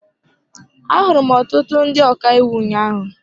Ahụrụ m ọtụtụ ndị ọka iwu ụnyaahụ.